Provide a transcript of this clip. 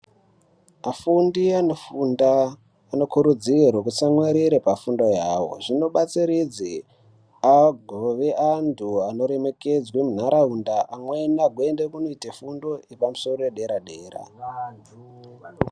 Afundi anofunda anokurudzirwe kutsamwirire pafundo yawo zvinobatsiridze agove antu anoremekedzwe muntaraunda amweni agoite fundo yepamusoro edera dera.